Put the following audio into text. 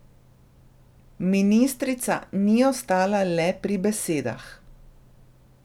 Ministrica ni ostala le pri besedah.